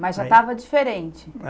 Mas já estava diferente?